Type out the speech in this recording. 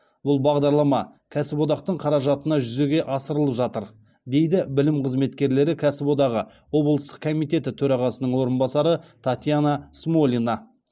бұл бағдарлама кәсіподақтың қаражатына жүзеге асырылып жатыр дейді білім қызметкерлері кәсіподағы облыстық комитеті төрағасының орынбасары татьяна смолина